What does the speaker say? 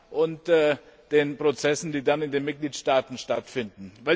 und den Prozessen, die dann in den Mitgliedstaaten stattfinden.